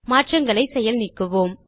மாற்றங்களை செயல் நீக்குவோம்